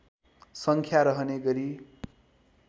सङ्ख्या रहने गरी